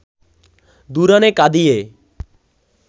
২ রানে কাঁদিয়ে